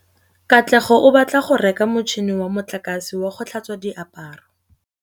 Katlego o batla go reka motšhine wa motlakase wa go tlhatswa diaparo.